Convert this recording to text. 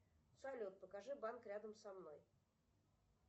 салют покажи банк рядом со мной